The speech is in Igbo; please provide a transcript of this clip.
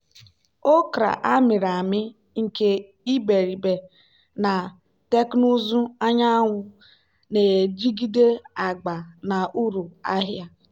okra a mịrị amị nke iberibe na teknụzụ anyanwụ na-ejigide agba na uru ahịa.